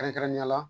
Kɛrɛnkɛrɛnnenya la